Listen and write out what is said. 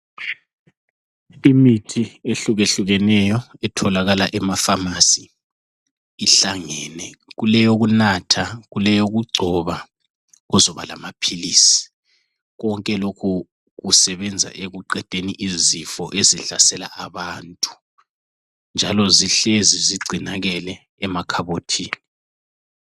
Imithi ehlukehlukeneyo etholakala ema pharmacy. Ihlangene kuleyokunatha, kuleyokugcoba kuzoba lama philisi. Konke lokhu kusebenza ekuqedeni izifo ezihlasela abantu. Njalo zihlezi zigcinakele emakhabothini.